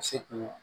Se kun